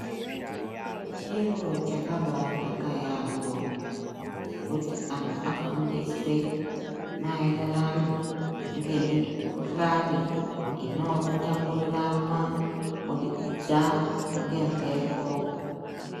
Chiro chakabaanaka yaamho kuti antu afundiswe maererano ngemikhuhlani inotapuriranwa kubudikidza ngemhepo.